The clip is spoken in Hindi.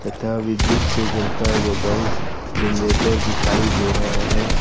तभी दृश्य जलता हुआ बल्ब जनरेटर दिखाई दे रहा है ।